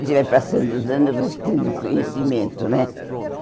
A gente vai passando os anos vai tendo conhecimento, né?